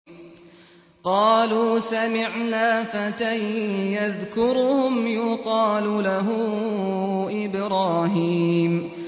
قَالُوا سَمِعْنَا فَتًى يَذْكُرُهُمْ يُقَالُ لَهُ إِبْرَاهِيمُ